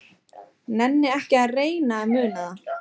Nenni ekki að reyna að muna það.